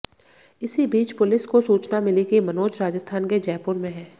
इसी बीच पुलिस को सूचना मिली की मनोज राजस्थान के जयपुर में है